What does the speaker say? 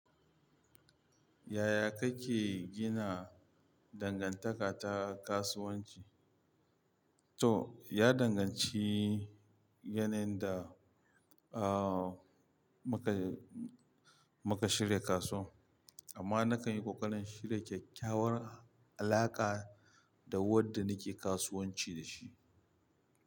Yaya kake gina dangantaka ta kasuwanci? To, ya danganci yanayin da, uh, muka, muka shirya kaso. Amma na kan yi ƙoƙarin shirya kyakkyawar alaƙa da wadda nake kasuwanci da shi.